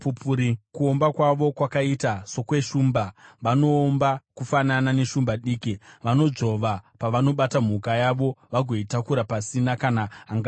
Kuomba kwavo kwakaita sokweshumba, vanoomba kufanana neshumba diki; vanodzvova pavanobata mhuka yavo vagoitakura pasina kana angairwira.